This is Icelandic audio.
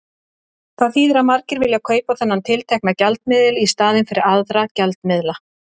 Það þýðir að margir vilja kaupa þennan tiltekna gjaldmiðil í staðinn fyrir aðra gjaldmiðla.